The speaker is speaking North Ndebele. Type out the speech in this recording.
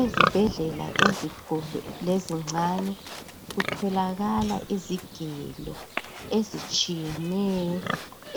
Ezibhendlela ezinkulu lezincane kutholakala izigelo ezitshiyeneyo